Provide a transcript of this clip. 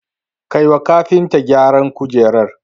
Kai wa kafinta gyaran kujerar